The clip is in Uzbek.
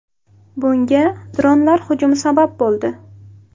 Bunga dronlar hujumi sabab bo‘ldi.